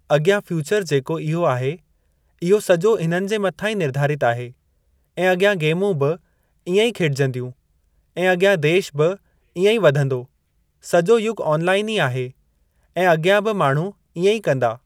अॻियां फ्यूचर जेको इहो आहे इहो सॼो हिननि जे मथां ई निर्धारित आहे ऐं अॻियां गेमूं बि इएं ई खेॾजंदियूं ऐं अॻियां देश बि इएं वधंदो सॼो युॻ ऑनलाइन ई आहे ऐं अॻियां बि माण्हू इएं ई कंदा।